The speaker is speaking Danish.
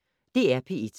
DR P1